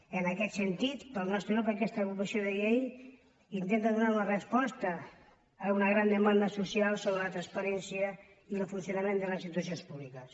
i en aquest sentit per al nostre grup aquesta proposició de llei intenta donar una resposta a una gran demanda social sobre la transparència i el funcionament de les institucions públiques